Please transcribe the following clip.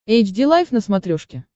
эйч ди лайф на смотрешке